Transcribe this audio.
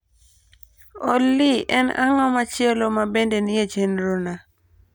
Olly en ang'o machielo ma bende nie chenro na